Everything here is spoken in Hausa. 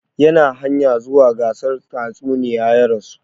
Yana hanya zuwa gasar tatsuniya ya rasu